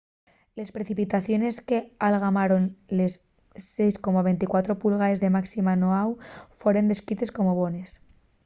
les precipitaciones qu'algamaron les 6,24 pulgaes de máxima n'oahu foren descrites como bones